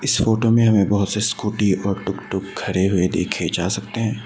इस फोटो में हमें बहुत से स्कूटी और टूकटूक खड़े हुए देखे जा सकते हैं।